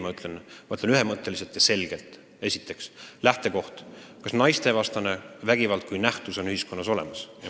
Ma ütlen ühemõtteliselt ja selgelt: esiteks, milline on lähtekoht, kas naistevastane vägivald kui nähtus on ühiskonnas olemas?